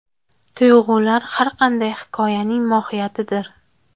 Tuyg‘ular har qanday hikoyaning mohiyatidir”.